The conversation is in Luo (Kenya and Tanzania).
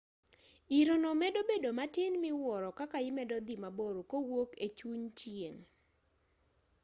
irono medo bedo matin miwuoro kaka imedo dhi mabor kowuok e chuny chieng'